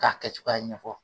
K'a kɛcogoya ɲɛfɔ.